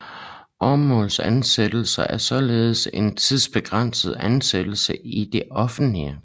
Åremålsansættelse er således en tidsbegrænset ansættelse i det offentlige